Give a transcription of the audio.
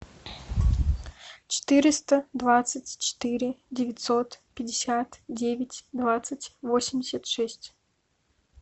четыреста двадцать четыре девятьсот пятьдесят девять двадцать восемьдесят шесть